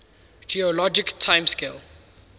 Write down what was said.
geologic time scale